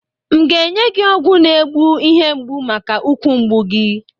M ga-enye gi ọgwụ na egbu ihe mgbụ maka ukwu mgbụ gị?